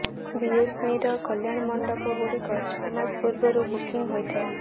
ବିଏମ୍ସିର କଲ୍ୟାଣମଣ୍ଡପ ଗୁଡ଼ିକ ଛଅ ମାସ ପୂର୍ବରୁ ବୁକିଂ ହୋଇଥାଏ